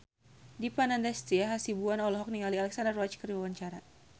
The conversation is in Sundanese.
Dipa Nandastyra Hasibuan olohok ningali Alexandra Roach keur diwawancara